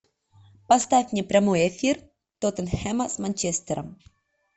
поставь мне прямой эфир тоттенхэма с манчестером